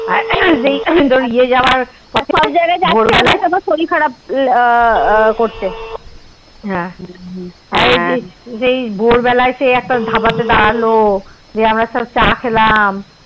সব জায়গায় কোনো কোন বার শরীর খারাপ করছে হা যে সেই ভোর বেলা একটা ধাবা তে দাঁড়ালো সেই আমরা সব চা খেলাম